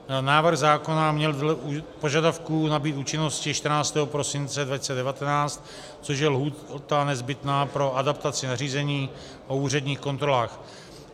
Návrh zákona měl dle požadavků nabýt účinnosti 14. prosince 2019, což je lhůta nezbytná pro adaptaci nařízení o úředních kontrolách.